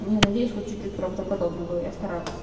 надеюсь хоть чуть-чуть правдоподобно было я старалась